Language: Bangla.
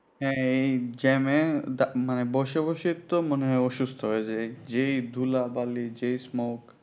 হ্যাঁ এই jam এ দা মানে বসে বসে তো মনে হয় অসুস্থ হয়ে যায় যেই ধুলা বালি যেই smoke